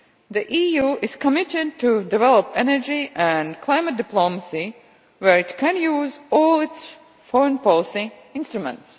The EU is committed to developing energy and climate diplomacy where it can use all its foreign policy instruments.